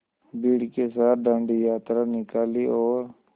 भीड़ के साथ डांडी यात्रा निकाली और